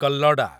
କଲ୍ଲଡା